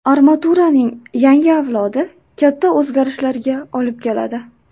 Armaturaning yangi avlodi katta o‘zgarishlarga olib keladi.